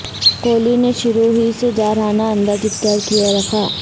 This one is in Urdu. کوہلی نے شروع ہی سے جارحانہ انداز اختیار کیے رکھا